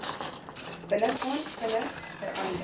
binnegaan vinnig verander